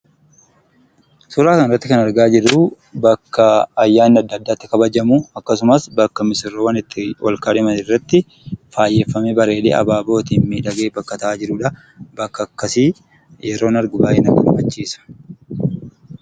Suuraa kanarratti kan argaa jirru bakka ayyaanni addaa addaa itti kabajamu, akkasumas bakka misirroon itti wal-kaadhiman irratti faayyeeffamee, bareedee abaabootiin miidhagfamee bakka taa'aa jirudha. bakka akkasii yeroon argu baay'ee na gammachiisa.